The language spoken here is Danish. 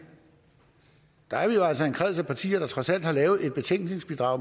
der er vi jo altså en kreds af partier der trods alt har lavet et betænkningsbidrag